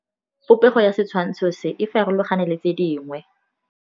Popêgo ya setshwantshô se, e farologane le tse dingwe.